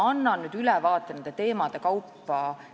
Annan nüüd ülevaate muudatustest teemade kaupa.